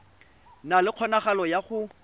na le kgonagalo ya go